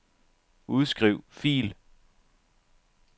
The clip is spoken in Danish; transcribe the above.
Udskriv fil.